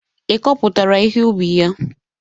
Ịkọpụtara ihe ubi ya?